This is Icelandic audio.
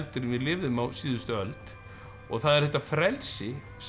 en við lifðum á síðustu öld og það er þetta frelsi sem